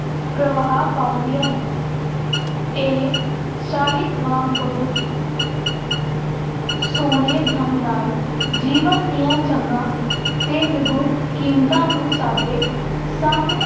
ਪ੍ਰਭਾਵ ਪਾਉਂਦੀਆਂ ਹੈ ਇਹ ਸਾਹਿਤ ਵਾਂਗ ਬਹੁਤ ਸੋਹਣੇ ਢੰਗ ਨਾਲ ਜੀਵਨ ਦੀਆਂ ਚੰਗਾਂ ਅਤੇ ਨਿਗੁਣ ਕੀਮਤਾਂ ਨੂੰ ਸਾਡੇ ਸਾਹਮਣੇ